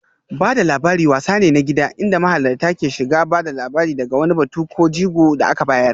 Ba da labari wasa ne na gida inda mahalarta ke shiga ba da labari daga wani batu ko jigo da aka bayar